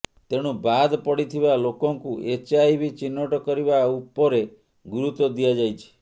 ତେଣୁ ବାଦ୍ ପଡ଼ିଥିବା ଲୋକଙ୍କୁ ଏଚ୍ଆଇଭି ଚିହ୍ନଟ କରିବା ଉପରେ ଗୁରୁତ୍ୱ ଦିଆଯାଇଛି